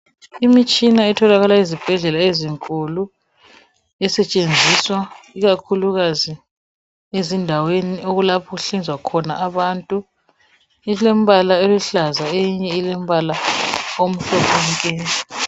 Imitshina etholakala ezibhedlela ezinkulu esetshenziswa ikakhulukazi ezindaweni lapho okuhlinzwa khona abantu ilombala oluhlaza eyinye ilombala omhlophe nke.